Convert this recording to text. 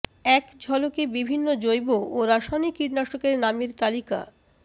এক ঝলকে বিভিন্ন জৈব ও রাসায়নিক কীটনাশকের নামের তালিকা